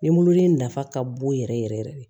Ni mololen nafa ka bon yɛrɛ yɛrɛ yɛrɛ de